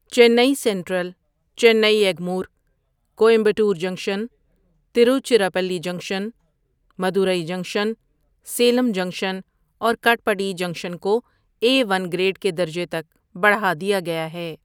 Chennai central, Chennai Egmore, Coimbatore junction, Tiruchirappalli junction, Madurai junction, Salem junction اور Katpadi junction کو A one grade کے درجے تک بڑھا دیا گیا ہے۔